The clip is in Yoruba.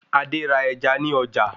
Adé ra ẹja ní ọjà